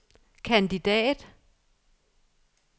kandidat